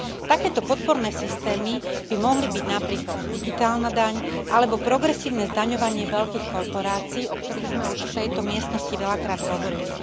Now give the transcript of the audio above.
Takéto podporné systémy by mohli byť napríklad digitálna daň alebo progresívne zdaňovanie veľkých korporácií, o ktorých sme už v tejto miestnosti veľakrát hovorili.